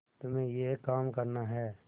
तुम्हें यह काम करना है